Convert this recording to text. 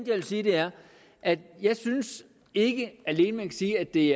vil sige er at jeg ikke alene kan sige at det